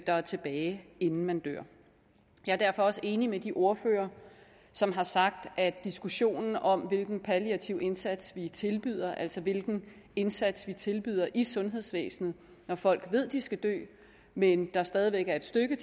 er tilbage inden man dør jeg er derfor også enig med de ordførere som har sagt at diskussionen om hvilken palliativ indsats vi tilbyder altså hvilken indsats vi tilbyder i sundhedsvæsenet når folk ved de skal dø men der stadig væk er et stykke